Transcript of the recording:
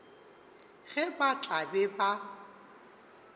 ge ba tla be ba